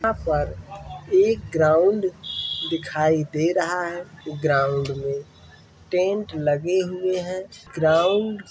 यहाँ पर एक ग्राउन्ड दिखाई दे रहा है। ग्राउन्ड में टेंट लगे हुए हैं। ग्राउन्ड --